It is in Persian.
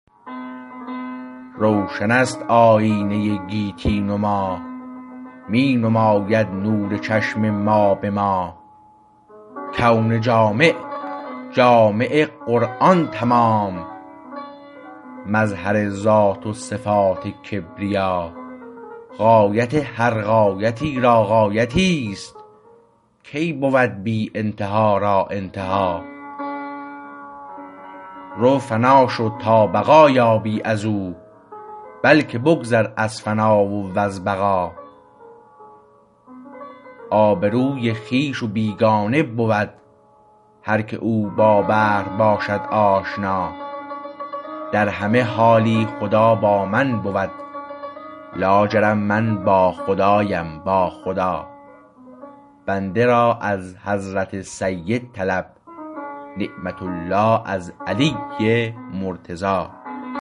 روشنست آیینه گیتی نما می نماید نور چشم ما به ما کون جامع جامع قرآن تمام مظهر ذات و صفات کبریا غایت هر غایتی را غایتی است کی بود بی ابتدا را انتها رو فنا شو تا بقا یابی از او بلکه بگذر از فنا و از بقا آبروی خویش و بیگانه بود هر که او با بحر باشد آشنا در همه حالی خدا با من بود لاجرم من با خدایم با خدا بنده را از حضرت سید طلب نعمت الله از علی مرتضی